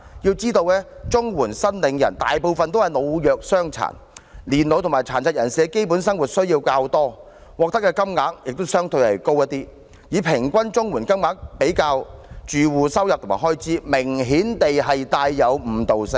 要知道綜援申領人大部分是老弱傷殘，年老及殘疾人士的基本生活需要較多，獲得的金額亦相對高，以平均綜援金額比較住戶收入及開支，明顯帶有誤導性。